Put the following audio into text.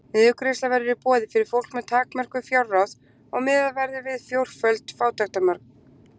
Niðurgreiðsla verður í boði fyrir fólk með takmörkuð fjárráð og miðað verður við fjórföld fátæktarmörk.